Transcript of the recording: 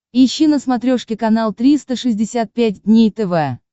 ищи на смотрешке канал триста шестьдесят пять дней тв